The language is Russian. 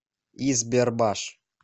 избербаш